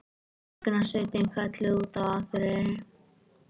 Björgunarsveitin kölluð út á Akureyri